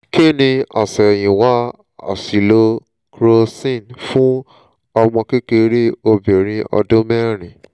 kí ni àṣẹ̀yìnwá àṣìlò crocin fún ọmọkékeré obìnrin ọdún mẹ́rin?